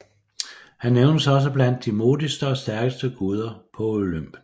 Han nævnes også blandt de modigste og stærkeste guder på Olympen